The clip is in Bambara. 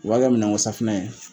O y'a ka minɛnkosafinɛ ye